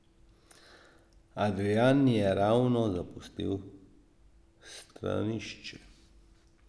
Adrijan je ravno zapustil stranišče.